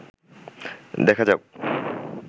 দেখা যাউক